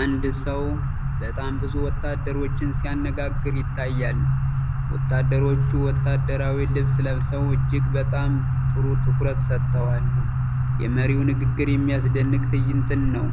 አንድ ሰው በጣም ብዙ ወታደሮችን ሲያነጋግር ይታያል። ወታደሮቹ ወታደራዊ ልብስ ለብሰው እጅግ በጣም ጥሩ ትኩረት ሰጥተዋል። የመሪው ንግግር የሚደንቅ ትዕይንት ነው።